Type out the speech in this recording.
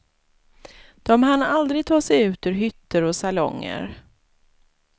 De hann aldrig ta sig ut ur hytter och salonger.